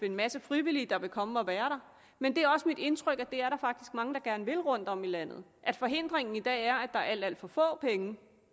en masse frivillige der vil komme og være der men det er også mit indtryk at det er der faktisk mange der gerne vil rundtom i landet forhindringen i dag er at der er alt alt for få penge